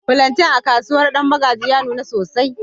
flantain a kasuwar danmagji ya nuna sosai.